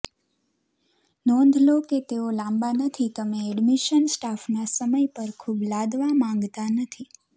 નોંધ લો કે તેઓ લાંબા નથી તમે એડમિશન સ્ટાફના સમય પર ખૂબ લાદવા માંગતા નથી